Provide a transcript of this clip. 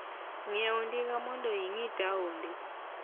Ng'iewo ndiga mondo ing'i taonde.